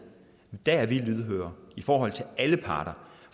er lydhøre i forhold til alle parter